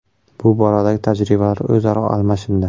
Bu boradagi tajribalar o‘zaro almashindi.